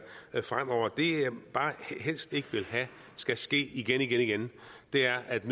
der fremover det jeg bare helst ikke vil have skal ske igen igen igen er at